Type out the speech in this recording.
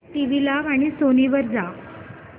TV लाव आणि Sony वर जा